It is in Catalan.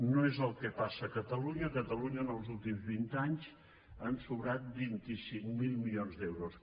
no és el que passa a catalunya a catalunya en els últims vint anys han sobrat vint cinc mil milions d’euros